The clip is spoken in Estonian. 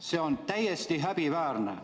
See on täiesti häbiväärne.